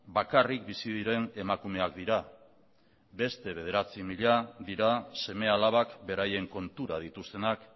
bakarrik bizi diren emakumeak dira beste bederatzi mila dira seme alabak beraien kontura dituztenak